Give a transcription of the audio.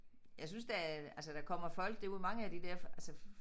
Jeg synes der er altså der kommer folk derude mange af de der altså